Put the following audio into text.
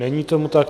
Není tomu tak.